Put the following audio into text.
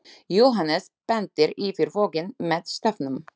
Jóhannes bendir yfir voginn með stafnum.